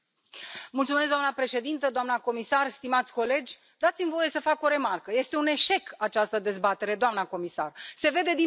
Doamnă președintă, doamnă comisar, stimați colegi, dați mi voie să fac o remarcă este un eșec această dezbatere, doamnă comisar, se vede din prezență.